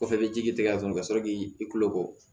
Kɔfɛ i bɛ ji tigɛ a kɔnɔ ka sɔrɔ k'i kulo bɔ